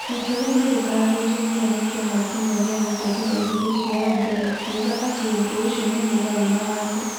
Itua rĩu nĩ rĩkararitio mũno nĩ kĩama kĩmwe gĩa gũtetera ihoto cia andũ gĩ'kiuga ati ũndu ũcio nĩ' mũgarũ na watho'.